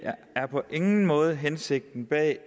er på ingen måde hensigten at